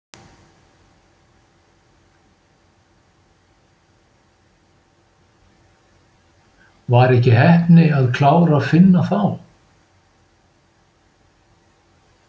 Var ekki heppni að klára Finna þá?